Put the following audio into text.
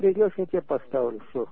придёшь я тебе поставлю всё